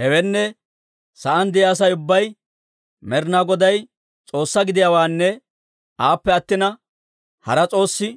Hewenne, sa'aan de'iyaa Asay ubbay Med'inaa Goday S'oossaa gidiyaawaanne aappe attina hara s'oossi